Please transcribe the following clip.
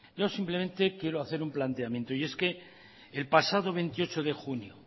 yo simplemente quiero hacer un planteamiento y es que el pasado veintiocho de junio